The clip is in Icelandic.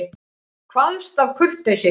Kvaðst af kurteisi.